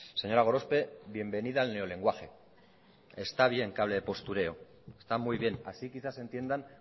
señora gorospe bienvenida al neolenguaje está bien que hable de postureo está muy bien así quizás entienda